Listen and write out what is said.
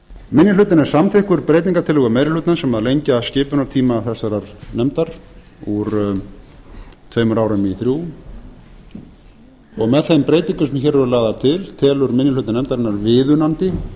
minni hlutinn er samþykkur breytingartillögu meiri hlutans sem lengja skipunartíma þessarar nefndar úr tveimur árum í þrjú og með þeim breytingum sem hér eru lagðar til telur minni hluti nefndarinnar viðunandi fyrir alþingi